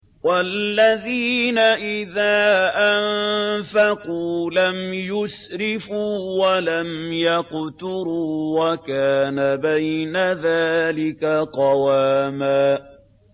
وَالَّذِينَ إِذَا أَنفَقُوا لَمْ يُسْرِفُوا وَلَمْ يَقْتُرُوا وَكَانَ بَيْنَ ذَٰلِكَ قَوَامًا